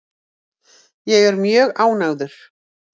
Ég er mjög ánægður.